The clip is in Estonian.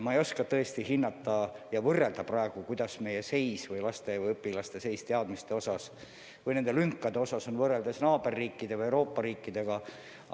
Ma ei oska tõesti praegu hinnata ja võrrelda, milline on meie seis õpilaste teadmiste osas ja nende lünkade osas võrreldes naaberriikidega ja muude Euroopa riikidega.